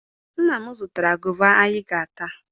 Nna m zụtara gova anyị ga-ata